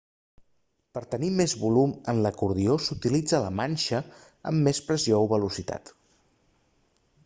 per tenir més volum en l'acordió s'utilitza la manxa amb més pressió o velocitat